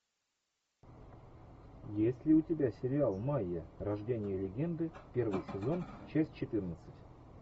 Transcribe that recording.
есть ли у тебя сериал майя рождение легенды первый сезон часть четырнадцать